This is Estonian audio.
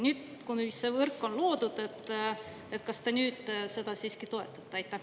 Nüüd, kui see võrk on loodud, kas te nüüd seda siiski toetate?